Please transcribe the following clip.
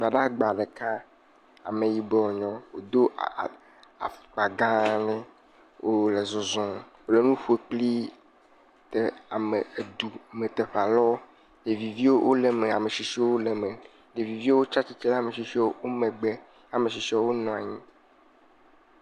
Gbadagba ɖeka, ame yibɔe wonye, wodo aa afɔkpa gã aɖe wole zɔzɔɔ wole nu ƒo kple de a me du teƒe aɖewo ɖevi viwo le eme ame tsitsiwo le eme. Ɖeviviwo tsia tsitre ɖe ame tsitsiwo megbe.